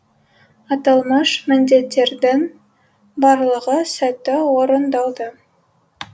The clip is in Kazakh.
аталмыш міндеттердің барлығы сәтті орындалды